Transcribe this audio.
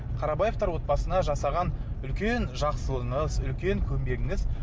қарабаевтар отбасына жасаған үлкен жақсылығыңыз үлкен көмегіңіз